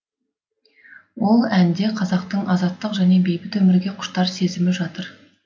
ол әнде қазақтың азаттық пен бейбіт өмірге құштар сезімі жатыр